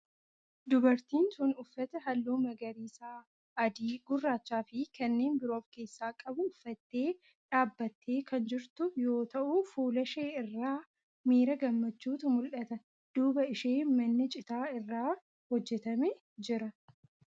Dubartiin tun uffata halluu magariisa, adii, gurraachaa fi kanneen biroo of keessaa qabu uffattee dhaabbattee kan jirtu yoo ta'u fuula ishee irraa miira gammachuutu mul'ata. duuba ishee manni citaa irraa hojjetame jira.